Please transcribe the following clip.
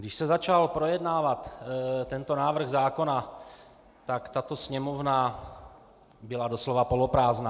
Když se začal projednávat tento návrh zákona, tak tato sněmovna byla doslova poloprázdná.